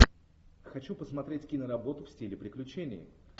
хочу посмотреть киноработу в стиле приключений